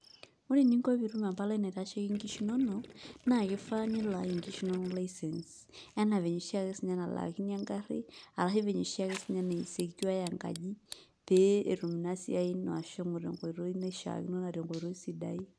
Ore eninko pee itum empalai naitasheiki nkishu inonok naa kifaa nilaaki nkishu inonok license enaa venye oshiake siinye nalaakini engarri arashu venye oshi ake siinye na secureai enkaji pee etum ina siai ino ashomo dukuya tenkoitoi naishiakino naa tenkoitoi sidai.